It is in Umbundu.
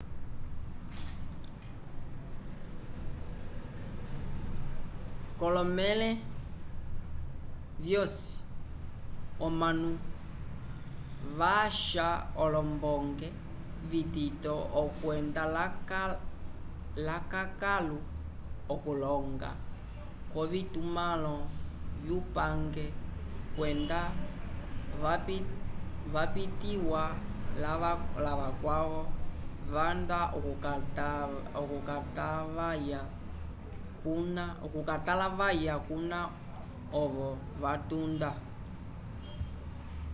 k'olomẽle vyosi omanu vasha olombonge vitito okwenda lakãkalu okuloñga k'ovitumãlo vyupange kwenda vapitiwa lavakwavo vanda okutalavaya kuna ovo vatunda